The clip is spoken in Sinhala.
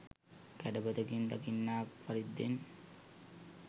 කැඩපතකින් දකින්නාක් පරිද්දෙන්